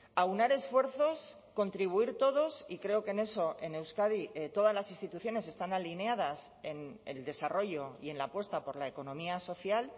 aunar esfuerzos contribuir todos y creo que en eso en euskadi todas las instituciones están alineadas en el desarrollo y en la apuesta por la economía social